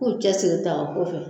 Ko cɛ seginna taa fɛ